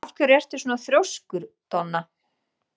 Af hverju ertu svona þrjóskur, Donna?